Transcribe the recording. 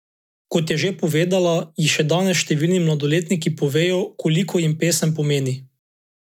Kot je še povedala, ji še danes številni mladostniki povedo, koliko jim pesem pomeni.